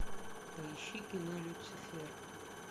поищи кино люцифер